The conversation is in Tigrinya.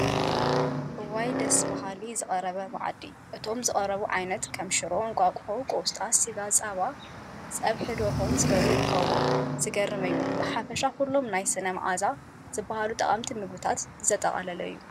እዋይይ ደስ በሃሊ ዝተቐርበ መኣዲ እቶም ዝተቐረቡ ዓይነት ከም ሽሮ፥ እንቓቁሖ፥ ቆስጣ፥ ስጋ፥ ጸባ፥ ጸብሒ ደርሆን ዝበሉ ይርከቡዎም። ዝገርም እዩ ብሓፈሻ ኩሎም ናይ ስነ መዓዛ ዝበሃሉ ጠቐምቲ ምግቢታት ዝጠቓለለ እዩ